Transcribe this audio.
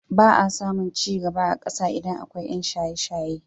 Ba a samun ci gaba a ƙasa idan akwai ƴan shaye-shaye.